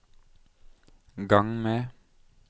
gang med